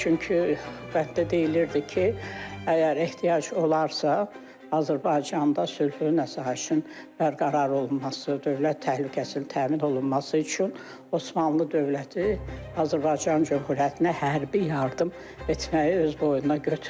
Çünki bənddə deyilirdi ki, əgər ehtiyac olarsa, Azərbaycanda sülhün və sabitliyin bərqərar olunması, dövlət təhlükəsizliyinin təmin olunması üçün Osmanlı dövləti Azərbaycan Cümhuriyyətinə hərbi yardım etməyi öz boynuna götürür.